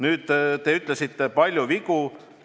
Te ütlesite, et on olnud palju vigu.